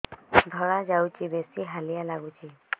ଧଳା ଯାଉଛି ବେଶି ହାଲିଆ ଲାଗୁଚି